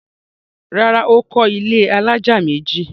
Rárá, Ó kọ́ ilẹ́ alájà méjì